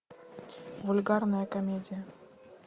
вульгарная комедия